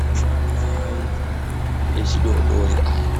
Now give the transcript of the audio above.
Anamai echidodori aya